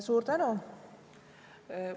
Suur tänu!